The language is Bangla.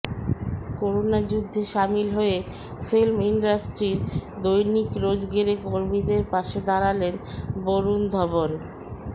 করোনা যুদ্ধে সামিল হয়ে ফিল্ম ইন্ডাস্ট্রির দৈনিক রোজগেরে কর্মীদের পাশে দাঁড়ালেন বরুণ ধবন